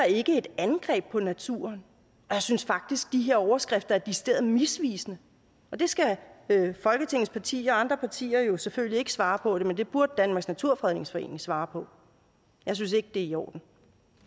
ikke et angreb på naturen og jeg synes faktisk de her overskrifter er decideret misvisende det skal folketingets partier og andre partier jo selvfølgelig ikke svare på men det burde danmarks naturfredningsforening svare på jeg synes ikke det er i orden